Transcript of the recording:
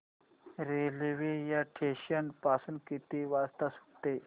railway या station पासून किती वाजता सुटते